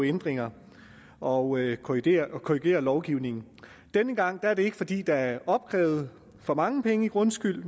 ændringer og korrigere korrigere lovgivningen og denne gang er det ikke fordi der er blevet opkrævet for mange penge i grundskyld